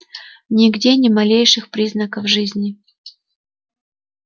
нигде ни малейших признаков жизни